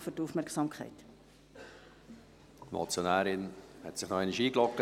Die Motionärin hat sich nochmals eingeloggt.